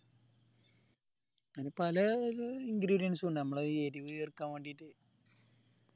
പല ingredients ഇണ്ടാവും നമ്മളെ ഈ എരിവ ചേർക്കാൻ വേണ്ടീട്ട